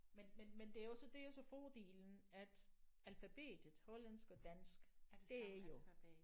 Men men men det er også det er jo så fordelen at alfabetet hollandsk og dansk det er jo